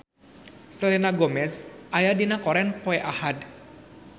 Selena Gomez aya dina koran poe Ahad